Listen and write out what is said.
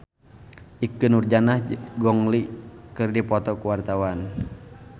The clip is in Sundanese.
Ikke Nurjanah jeung Gong Li keur dipoto ku wartawan